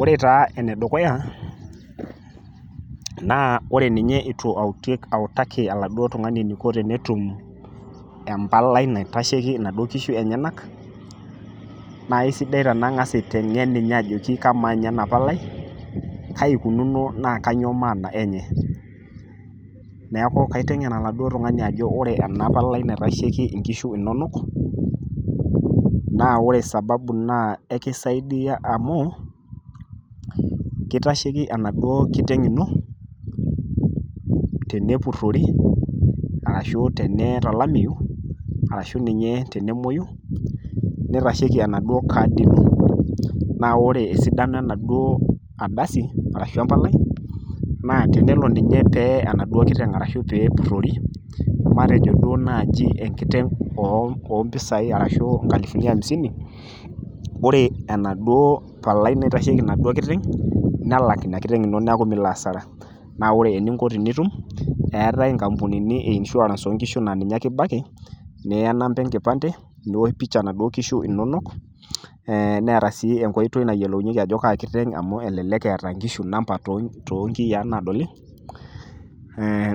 Ore taa ene dukuya, naa ore ninye eitu autaki oladuo tung'ani eneiko peyie etum empalai naitasheiki inaduo kishu enyena, naa aisidai tenang'as aiteng'en ninye ajoki kamaa ninye ena Palai Kai eikununo naa kainyoo maana enye, neaku kaiteng'en oladuo tung'ani ajoki ore ena Palai naitasheiki inkishu inono, naa ore sababu naa ekeisaidia amu, keitasheiki enaduo kiteng' ino, tenepurori ashu tenee tolameu, ashu ninye tenemouyu, neitasheiki enaduo kaadi ino, naa ore esidano enaduo ardasi arashu empalai, naa tenelo ninye pee we enaduo kiteng' ashu tenepurori matejo duo naaji enkiteng' o mpisai arashu o nkalifuni amisini, ore ena duo Palai naitasheiki enaduo kiteng' ino nelo alak Ina kiteng' ino neaku mintoki alo asara. Naa ore eninko peyie itum, keatai inkapunini e insurance oo nkishu naa ninye ake ibaiki, niyaa enamba enkipande, niosh pisha naduo kishu inono neata sii enkoitoi nayiolounyeki ajo Kaa kiteng' amu elelek eata inkishu enamba too inkiyaa naadoli,